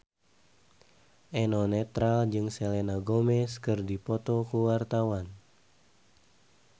Eno Netral jeung Selena Gomez keur dipoto ku wartawan